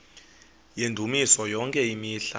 yendumiso yonke imihla